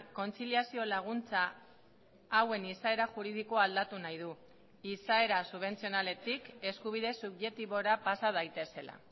kontziliazio laguntza hauen izaera juridikoa aldatu nahi du izaera subentzionaletik eskubide subjektibora pasa daitezela